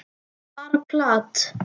Bara plat.